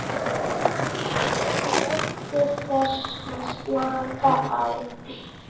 NJÓTTU ÞESS AÐ SLAKA Á